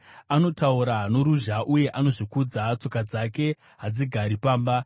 Anotaura noruzha uye anozvikudza, tsoka dzake hadzigari pamba;